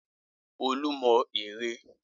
Olú mọ ère.